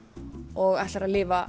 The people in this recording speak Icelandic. og ætlar lifa